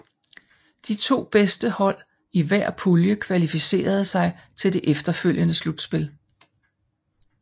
De to bedste hold i hver pulje kvalificerede sig til det efterfølgende slutspil